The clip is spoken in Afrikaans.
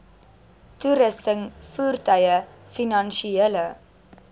toerusting voertuie finansiële